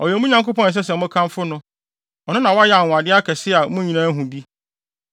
Ɔyɛ mo Nyankopɔn a ɛsɛ sɛ mokamfo no. Ɔno na wayɛ anwonwade akɛse a mo nyinaa ahu bi.